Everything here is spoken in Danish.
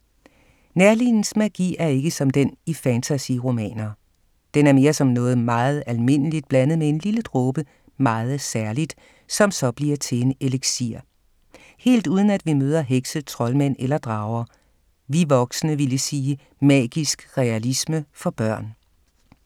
Neerlins magi er ikke som den i fantasy-romaner. Den er mere som noget meget almindeligt blandet med en lille dråbe meget særligt, som så bliver til en eliksir. Helt uden at vi møder hekse, troldmænd eller drager. Vi voksne ville sige magisk realisme for børn.